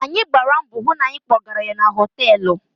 Anyị gbara mbọ hụ na anyị kpọgara ya na họtelụ.